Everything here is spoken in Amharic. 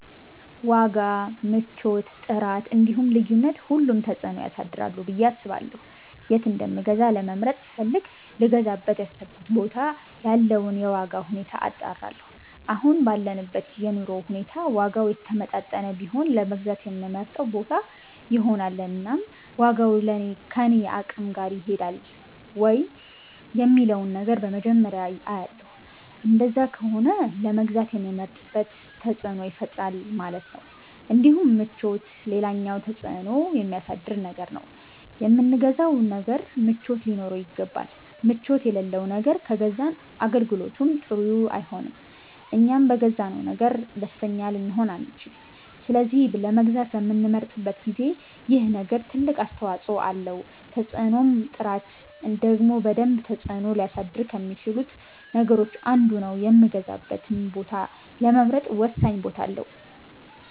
ዋጋ፣ ምቾት፣ ጥራት እንዲሁም ልዩነት ሁሉም ተፅእኖ ያሳድራሉ ብየ አስባለሁ የት እንደምገዛ ለመምረጥ ስፈልግ ልገዛበት ያሰብኩበት ቦታ ያለውን የዋጋ ሁኔታ አጣራለሁ አሁን ባለንበት የኑሮ ሁኔታ ዋጋው የተመጣጠነ ቢሆን ለመግዛት የምመርጠው ቦታ ይሆናል እናም ዋጋው ከኔ አቅም ጋር ይሄዳል ወይ የሚለውን ነገር በመጀመርያ አያለሁ እንደዛ ከሆነ ለመግዛት የምመርጥበት ተፅእኖ ይፈጥራል ማለት ነው እንዲሁም ምቾት ሌላኛው ተፅእኖ የሚያሳድር ነገር ነው የምንገዛው ነገር ምቾት ሊኖረው ይገባል ምቾት የለለው ነገር ከገዛን አገልግሎቱም ጥሩ አይሆንም እኛም በገዛነው ነገር ደስተኛ ልንሆን አንቺልም ስለዚህ ለመግዛት በምንመርጥበት ጊዜ ይሄ ነገር ትልቅ አስተዋፀኦ አለው ተፅእኖም ጥራት ደግሞ በደንብ ተፅእኖ ሊያሳድር ከሚቺሉት ነገሮች አንዱ ነው የምገዛበትን ቦታ ለመምረጥ ወሳኝ ቦታ አለው